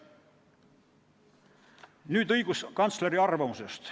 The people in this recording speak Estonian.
Nüüd õiguskantsleri arvamusest.